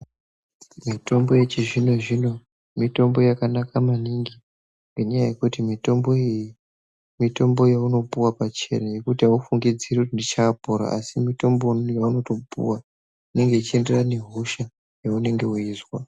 Mitombo yechizvino zvino mitombo yakanaka maningi ngenyaa yekuti mitombo iyi mitombo yaunopuwe pachena yekuti aufungidziri kuti ndichaopora asi mitombo yavanotoupuwa inenge yechienderana nehosha yaunenge weizwa.